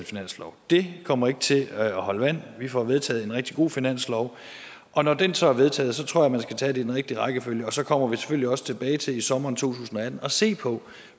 finanslov det kommer ikke til at holde vand vi får vedtaget en rigtig god finanslov og når den så er vedtaget tror jeg man skal tage det i den rigtige rækkefølge og så kommer vi selvfølgelig også til til i sommeren to tusind og atten at se på